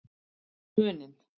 Muninn